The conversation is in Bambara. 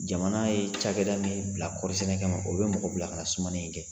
Jamana ye cakɛda min bila kɔɔrisɛnɛ kama o bɛ mɔgɔ bila ka na sumani in kɛ